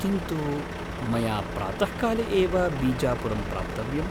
किन्तु, मया प्रातःकाले एव बीजापुरं प्राप्तव्यम्।